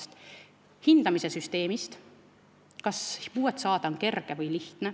See tuleneb hindamissüsteemist, sellest, kas puude määramise otsust saada on kerge.